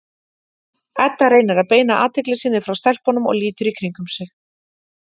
Edda reynir að beina athygli sinni frá stelpunum og lítur í kringum sig.